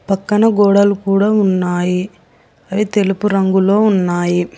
పక్కన గోడలు కూడా ఉన్నాయి అవి తెలుపు రంగులో ఉన్నాయి.